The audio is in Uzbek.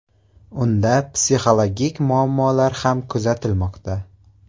Unda psixologik muammolar ham kuzatilmoqda.